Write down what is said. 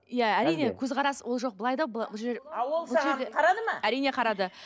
иә әрине көзқарас ол жоқ былай да бұл жер ал ол саған қарады ма әрине қарады